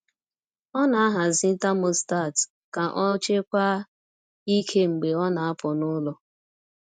O na-ahazi thermostat ka o chekwaa ike mgbe ọ na-apụ n'ụlọ.